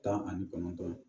Tan ani kɔnɔntɔn